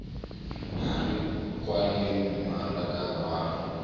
ha re kwaleng mmaraka wa